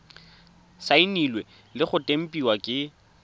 saenilwe le go tempiwa ke